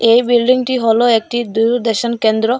এই বিল্ডিংটি হলো একটি দূরদর্শন কেন্দ্র।